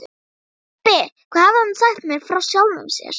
Pabbi, hvað hafði hann sagt mér frá sjálfum sér?